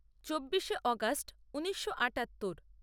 চব্বিশে অগাস্ট ঊনিশো আটাত্তর